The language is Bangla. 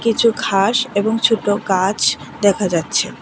কিছু ঘাস এবং ছোট গাছ দেখা যাচ্ছে।